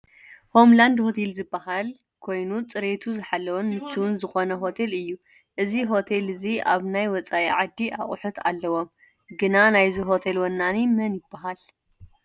ሆም ላንድ ሆቴል ዝበሃል ሆቴል ኮይኑ ፅሬቱ ዝሓለወን ምችውን ዝኮነ ሆቴል እዩ። እዚ ሆቴል እዚ ኣብ ናይ ወፃኢ ዓዲ ኣቁሑት ኣለውዎ። ግናናይዚ ሆቴል ወናኒ መን ይበሃል